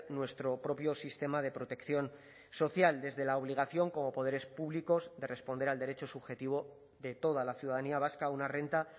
nuestro propio sistema de protección social desde la obligación como poderes públicos de responder al derecho subjetivo de toda la ciudadanía vasca una renta